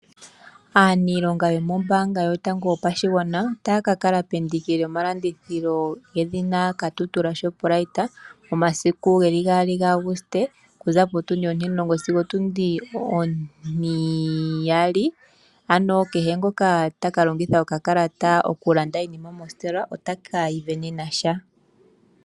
Aaniilonga yomombaanga yotango yopashigwana, ota yakakala pendiki lyomalandithilo yedhina Katutura Shoprite momasiku geli 2 Auguste, okuza potundi 10:00- 14:00, ano kehe ngoka takalongitha okakalata okulanda iinima mositola ota kasindana sha.